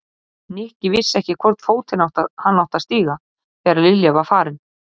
Nikki vissi ekki í hvorn fótinn hann átti að stíga þegar Lilja var farin.